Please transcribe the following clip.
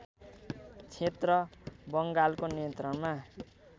क्षेत्र बङ्गालको नियन्त्रणमा